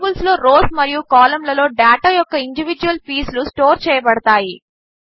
టేబిల్స్లో rows మరియు కాలంలలో data యొక్క ఇండివీడ్యువల్ పీసులు స్టోర్ చేయబడతాయి